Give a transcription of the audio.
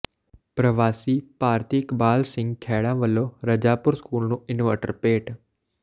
ਪ੍ਰਵਾਸੀ ਭਾਰਤੀ ਇਕਬਾਲ ਸਿੰਘ ਖੈੜਾ ਵੱਲੋਂ ਰਜਾਪੁਰ ਸਕੂਲ ਨੂੰ ਇਨਵਰਟਰ ਭੇਟ